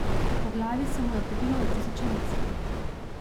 Po glavi se mu je podilo na tisoče misli.